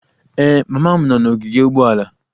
Ee, mama m nọ n'ogige ụgbọala